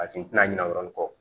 A tin tɛna ɲina o yɔrɔnin kɔ